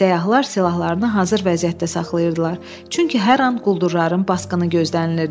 Səyyahlar silahlarını hazır vəziyyətdə saxlayırdılar, çünki hər an quldurların basqını gözlənilirdi.